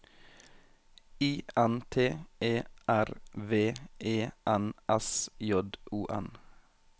I N T E R V E N S J O N